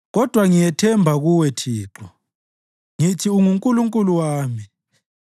Kodwa ngiyethemba Kuwe, Thixo; ngithi, “UnguNkulunkulu wami.”